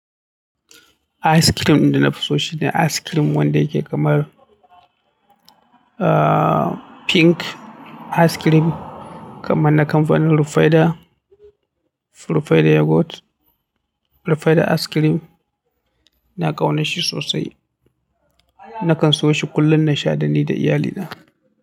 Ice cream ɗin da na fi so shine ice cream wanda yake kamar, ahhh, pink ice cream kamar na kamfanin Rufaidah, Rufaidah Yogurt, Rufaidah Ice Cream. Ina ƙaunar shi sosai. Nakan siyo shi kullum na sha da ni da iyalina.